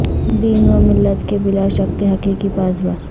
دین و ملت کے بلا شک تھے حقیقی پاسباں